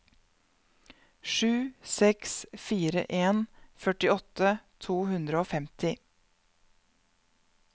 sju seks fire en førtiåtte to hundre og femti